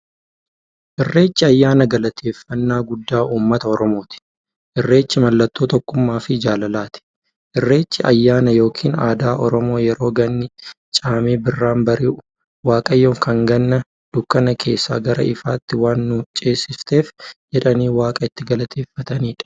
Irreechi ayyaana galateeffnnaa guddaa ummata oromooti. Irreechi mallattoo tokkummaafi jaalalaati. Irreechi ayyaana yookiin aadaa Oromoo yeroo ganni caamee birraan bari'u, waaqayyoon kan Ganna dukkana keessaa gara ifaatti waan nu ceesifteef jedhanii waaqa itti galateeffataniidha.